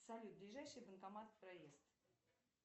салют ближайший банкомат проезд